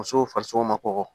Musow farisoko ma kɔkɔ